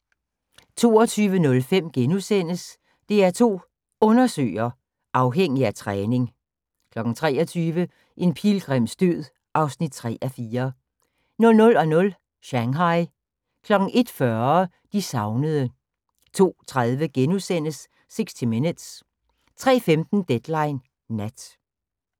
22:05: DR2 Undersøger: Afhængig af træning * 23:00: En pilgrims død (3:4) 00:00: Shanghai 01:40: De savnede 02:30: 60 Minutes * 03:15: Deadline Nat